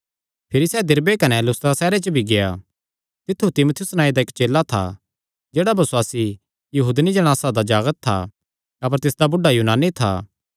भिरी सैह़ दिरबे कने लुस्त्रा सैहरे च भी गेआ तित्थु तीमुथियुस नांऐ दा इक्क चेला था जेह्ड़ा बसुआसी यहूदनी जणासा दा जागत था अपर तिसदा बुढ़ा यूनानी था